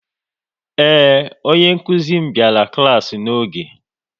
Ee, onye nkuzi m biara klaasi n'oge